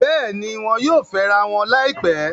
Bẹ́ẹ̀ni, wọn yóò fẹ́rawọn láìpẹ́